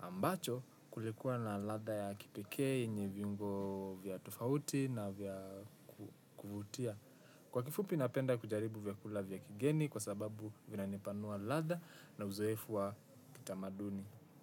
Ambacho kulikuwa na ladha ya kipekee yenye viungo vya tofauti na vya kuvutia. Kwa kifupi napenda kujaribu vyakula vya kigeni kwa sababu vinanipanua ladha na uzoefu wa kitamaduni.